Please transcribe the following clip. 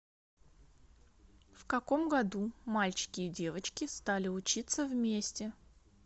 в каком году мальчики и девочки стали учиться вместе